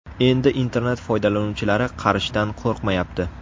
Endi internet-foydalanuvchilari qarishdan qo‘rqmayapti.